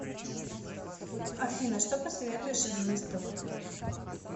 афина что посоветуешь из выставок